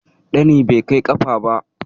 Ɗani bai kai ƙafa ba.